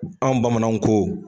Anw bamananw ko